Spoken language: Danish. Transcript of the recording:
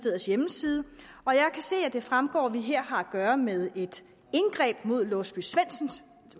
hjemmeside og jeg kan se at det fremgår at vi her har at gøre med et indgreb mod låsby svendsen